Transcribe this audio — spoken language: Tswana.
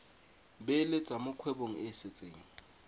beeletsa mo kgwebong e setseng